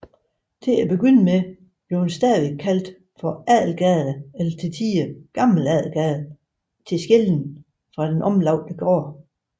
Til at begynde med kaldtes den stadig for Adelgade eller til tider Gammel Adelgade til skelnen fra den omlagte gade